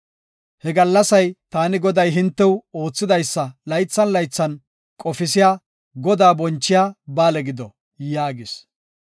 “Ha gallasay taani Goday hintew oothidaysa laythan laythan qofisiya Godaa bonchiya ba7aale gido” yaagis.